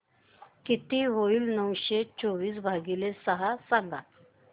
किती होईल नऊशे चोवीस भागीले सहा सांगा